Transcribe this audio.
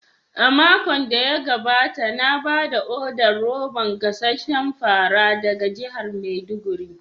A makon da ya gabata na ba da odar roban gasasshen fara daga jihar maiduguri.